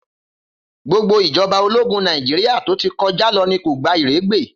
Gbogbo ìjọba ológún Nàìjíríà tó ti kọjá lọ ní kò gba ìrégbè.